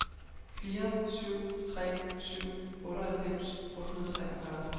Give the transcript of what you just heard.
fire syv tre syv otteoghalvfems otte hundrede og treogfyrre